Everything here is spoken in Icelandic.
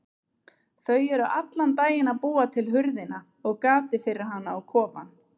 Þau eru allan daginn að búa til hurðina og gatið fyrir hana á kofann.